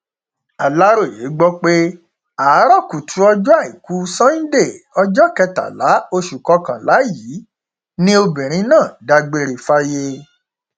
aláròye gbọ pé àárò kùtù ọjọ àìkú sànńdé ọjọ kẹtàlá oṣù kọkànlá yìí ni obìnrin náà dágbére fáyé